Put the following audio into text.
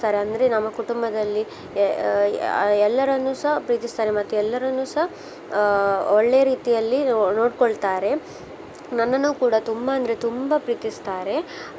ಅಂದ್ರೆ ನಮ್ಮ ಕುಟುಂಬದಲ್ಲಿ ಆ ಆ ಆ ಎಲ್ಲರನ್ನುಸ ಪ್ರೀತಿಸ್ತಾರೆ ಮತ್ತೆ ಎಲ್ಲರನ್ನುಸ ಆ ಒಳ್ಳೆ ರೀತಿಯಲ್ಲಿ ನೋಡ್ಕೊಳ್ತಾರೆ. ನನ್ನನ್ನು ಕೂಡಾ ತುಂಬಾ ಅಂದ್ರೆ ತುಂಬಾ ಪ್ರೀತಿಸ್ತಾರೆ.